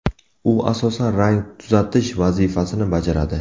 U asosan rang tuzatish vazifasini bajaradi.